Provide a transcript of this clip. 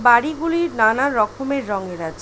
বাড়ি গুলি নানান রকমের রঙের আছে।